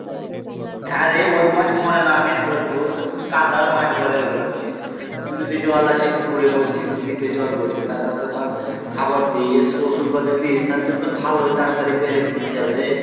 হ্যাঁ রে ওই মাছ মরে না কেনে বলতো ওই তো কাদার মাছ বলে ওই গুলান কে তুই যদি জল আসে পুকুরে বলছিস তো দ্বীপে জল ভরিস তারপর তো ধর খাবার দিস ওষুধ পাতি দিস তাহলে তো ভালোই তাড়াতাড়ি বেড়ে যাবে রে